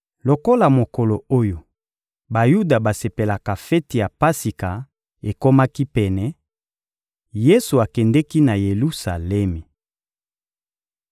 Lokola mokolo oyo Bayuda basepelaka feti ya Pasika ekomaki pene, Yesu akendeki na Yelusalemi.